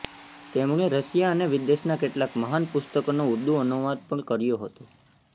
તેમણે રશિયા અને વિદેશના કેટલાક મહાન પુસ્તકોનો ઉર્દૂ અનુવાદ પણ કર્યો હતો